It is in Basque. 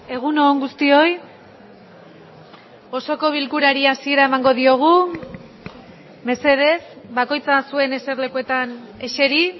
egun on guztioi osoko bilkurari hasiera emango diogu mesedez bakoitza zuen eserlekuetan eseri